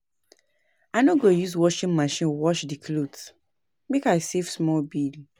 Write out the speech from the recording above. I no go use washing machine wash di cloth, make I save small bill.